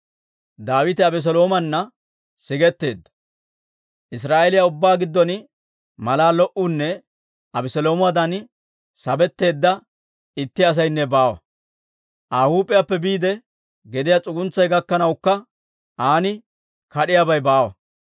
Israa'eeliyaa ubbaa giddon malaa lo"uunne Abeseeloomadan sabetteedda itti asaynne baawa. Aa huup'iyaappe biide gediyaa s'uguntsay gakkanawukka an kad'iyaabay baawa.